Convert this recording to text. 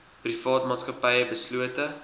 private maatskappye beslote